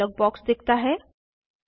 save dialog box दिखता है